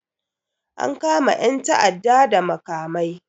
An kama 'yan ta'adda da makamai